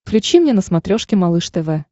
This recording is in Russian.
включи мне на смотрешке малыш тв